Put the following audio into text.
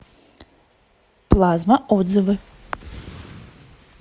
плазма отзывы